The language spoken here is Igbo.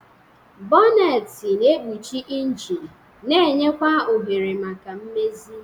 Bonneti na-ekpuchi injin na-enye kwa ohere maka mmezi.